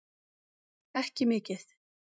Ekki mikið.